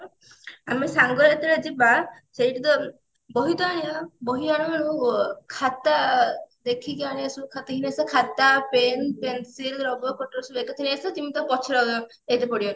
ଆଲୋ ସାଙ୍ଗ ଯେତେବେଳେ ଯିବା ସେଇଠୁ ତ ବହି ତ ଆଣିବା ବହି ଆଣୁ ଆଣୁ ଖାତା ଅ ଦେଖିକି ଆଣି ଆସିବା ଖାତା ଖାତା pen pencil ରବର cutter ସବୁ ଏକାଥରେ ନେଇ ଆସିବା ଯେମତି ଆଉ ପଛରେ ଆଉ ଯାଇତେ ପଡିବନି